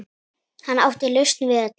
Hann átti lausn við öllu.